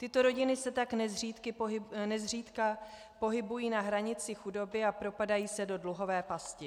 Tyto rodiny se tak nezřídka pohybují na hranici chudoby a propadají se do dluhové pasti.